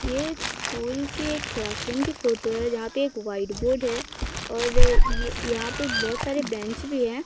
ये स्कूल के क्लासरूम की फोटो हैं जहां पे एक व्हाइट बोर्ड है और यहां पे बहोत सारे बेंच भी हैं।